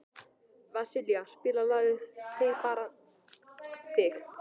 Vasilia, spilaðu lagið „Þig bara þig“.